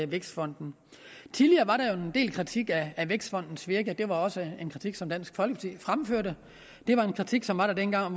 vækstfonden tidligere var der jo en del kritik af vækstfondens virke og det var også en kritik som dansk folkeparti fremførte det var en kritik som var der dengang